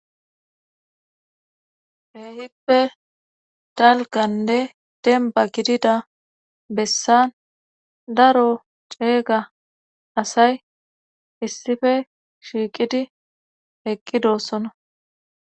Keehippe talganne demba gidida bessan daro ceeyga asay issife shiiqidi eqqi doossona.